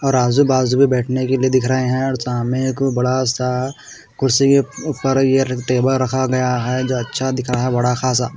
और आजू बाजू में बैठने के लिए दिख रे हैं और सामने एक बड़ा सा कुर्सी ऊपर ये टेबल रखा गया है जो अच्छा दिख रहा है बड़ा खासा।